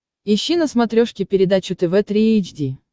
ищи на смотрешке передачу тв три эйч ди